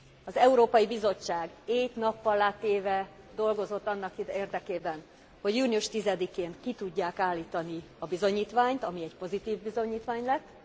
Az Európai Bizottság éjt nappallá téve dolgozott annak érdekében, hogy június 10 én ki tudják állítani a bizonyítványt, ami egy pozitív bizonyítvány lett.